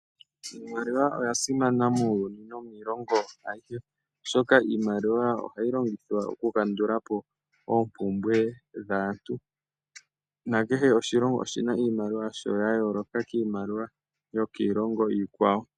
Iimaliwa oya simana muuyuni nomiilongo ayihe, oshoka iimaliwa ohayi longithwa okukandulapo oompumbwe dhaantu, nakehe oshilongo oshi na iimaliwa yasho ya yooloka kiimaliwa yokiilongo iikwawo.